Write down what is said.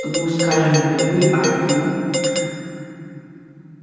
ну скажем не вы а ю